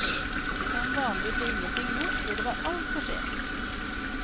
Som vanlig ble ingenting gjort før det var alt for sent.